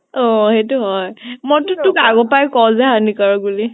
অʼ । সেইতো হয় । মই তো তোক আগতেই কওঁ যে হানিকাৰক বুলি ।